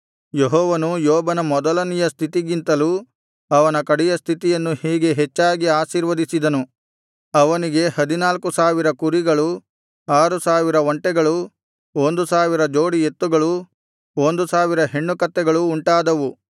ಯೆಹೋವನು ಯೋಬನ ಮೊದಲನೆಯ ಸ್ಥಿತಿಗಿಂತಲೂ ಅವನ ಕಡೆಯ ಸ್ಥಿತಿಯನ್ನು ಹೀಗೆ ಹೆಚ್ಚಾಗಿ ಆಶೀರ್ವದಿಸಿದನು ಅವನಿಗೆ ಹದಿನಾಲ್ಕು ಸಾವಿರ ಕುರಿಗಳೂ ಆರು ಸಾವಿರ ಒಂಟೆಗಳೂ ಒಂದು ಸಾವಿರ ಜೋಡಿ ಎತ್ತುಗಳೂ ಒಂದು ಸಾವಿರ ಹೆಣ್ಣುಕತ್ತೆಗಳೂ ಉಂಟಾದವು